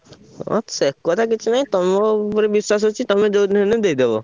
ଅ ସେ କଥା କିଛି ନାହିଁ, ତମ ଉପରେ ବିଶ୍ବାସ ଅଛି ତମେ ଯୋଉ ଦିନ ହେଲେବି ଦେଇଦବ।